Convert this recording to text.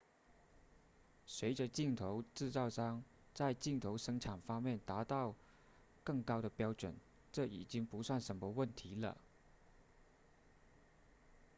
随着镜头制造商在镜头生产方面达到更高的标准这已经不算什么问题了